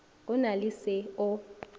go na le se o